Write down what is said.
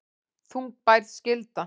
Þungbær skylda